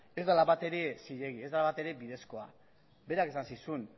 ez dela batere zilegi ez dela batere bidezkoa berak esan zizun